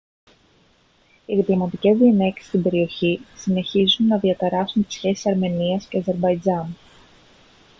οι διπλωματικές διενέξεις στην περιοχή συνεχίσουν να διαταράσσουν τις σχέσεις αρμενίας και αζερμπαϊτζάν